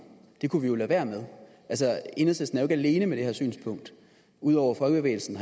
det kunne vi jo lade være med altså enhedslisten jo alene med det her synspunkt ud over folkebevægelsen